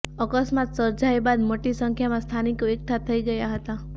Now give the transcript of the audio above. અકસ્માત સર્જાય બાદ મોટી સંખ્યામાં સ્થાનિકો એકઠા થઈ ગયા હતા